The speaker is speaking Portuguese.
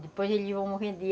Depois eles iam morrendo.